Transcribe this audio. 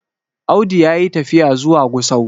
Audu ya yi tafiya zuwa Gusau